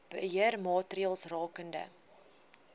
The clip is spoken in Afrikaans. beheer maatreëls rakende